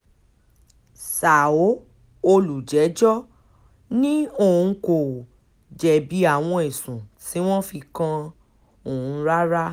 ṣàó olùjẹ́jọ́ ni òun kò jẹ̀bi àwọn ẹ̀sùn tí wọ́n fi kan òun rárá